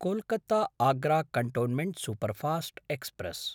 कोल्कत्ता–आग्रा cantonment superfast express